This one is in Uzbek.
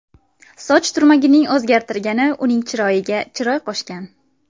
Soch turmagining o‘zgartirgani uning chiroyiga chiroy qo‘shgan.